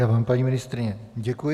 Já vám, paní ministryně, děkuji.